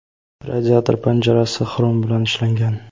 radiator panjarasi xrom bilan ishlangan.